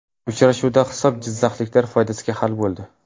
Uchrashuvda hisob jizzaxliklar foydasiga hal bo‘ldi.